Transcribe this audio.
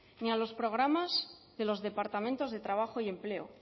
ni a los programas de los departamentos de trabajo y empleo